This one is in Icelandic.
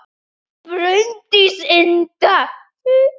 Bryndís Inda